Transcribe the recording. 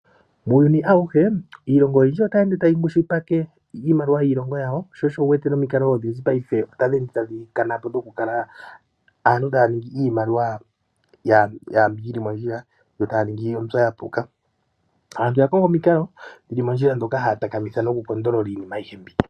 Muuyuni awuhe iilongo oyindji otayi ende tayi kwishipike iimaliwa yiilongo yawo sho osho wuwete nomikalo odhindji paife otadhi ende tadhi kanapo dhoku kala aantu taya ningi iimaliwa mbi yili mondjila yo taya ningi mbyo ya puka. Aantu oya konga omikalo dhili mondjila ndhoka haya takamitha iinima ayihe mbi.